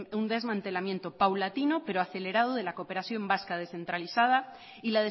un desmantelamiento paulatino pero acelerado de la cooperación vasca descentralizada y